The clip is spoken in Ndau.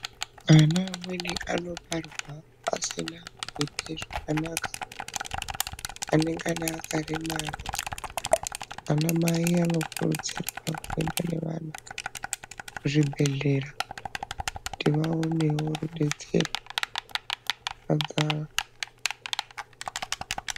Ana amweni anobarwa asina kuite zvakanaka anengana aka remara ana mai ano kurudzirwa kuenda nevana ku zvibhedhlera kuti vaonewo rudetsero.